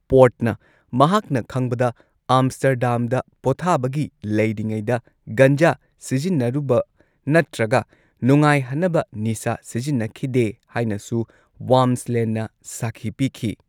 ꯄꯣꯔꯠꯅ ꯃꯍꯥꯛꯅ ꯈꯪꯕꯗ ꯑꯥꯝꯁ꯭ꯇꯔꯗꯥꯝꯗ ꯄꯣꯊꯥꯥꯕꯒꯤ ꯂꯩꯔꯤꯉꯩꯗ ꯒꯟꯖꯥ ꯁꯤꯖꯤꯟꯅꯔꯨꯕ ꯅꯠꯇ꯭ꯔꯒ ꯅꯨꯡꯉꯥꯏꯍꯟꯅꯕ ꯅꯤꯁꯥ ꯁꯤꯖꯤꯟꯅꯈꯤꯗꯦ ꯍꯥꯏꯅꯁꯨ ꯋꯥꯝꯁ꯭ꯂꯦꯟꯅ ꯁꯥꯈꯤ ꯄꯤꯈꯤ꯫